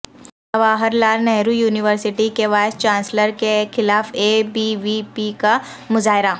Jawahar Lal Nehru university کے vice chancellor کے خلاف اے بی وی پی کا مظاہرہ